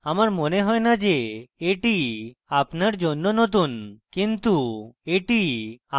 আমার মনে হয় না যে এটি আপনার জন্য নতুন কিন্তু এটি আমার জন্য নতুন